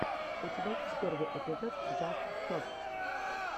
у тебя есть первый эпизод джаст сотс